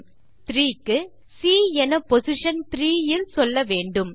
மேலும் த்ரீ க்கு சி என பொசிஷன் 3 இல் சொல்ல வேண்டும்